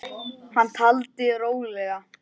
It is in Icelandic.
Hann taldi rólega